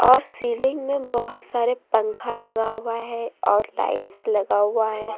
और सीलिंग में बहुत सारे पंखा लगा हुआ है और टाइल्स लगा हुआ है।